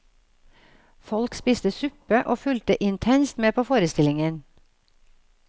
Folk spiste suppe, og fulgte intenst med på forestillingen.